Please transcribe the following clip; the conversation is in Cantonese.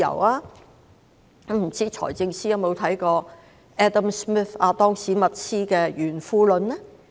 不知財政司司長有否看過亞當.史密斯的《國富論》呢？